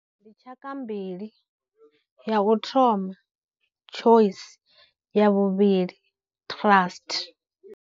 Ndi tshaka mbili, ya u thoma Choice, ya vhuvhili Trust.